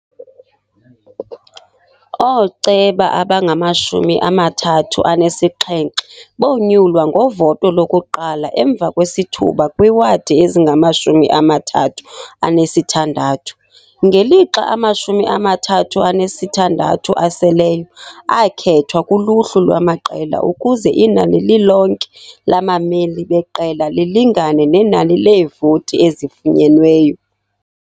Ooceba abangamashumi amathathu anesixhenxe bonyulwa ngovoto lokuqala emva kwesithuba kwiiwadi ezingamashumi amathathu anesithandathu, ngelixa amashumi amathathu anesithandathu aseleyo akhethwa kuluhlu lwamaqela ukuze inani lilonke labameli beqela lilingane nenani leevoti ezifunyenweyo.